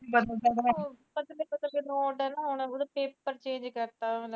note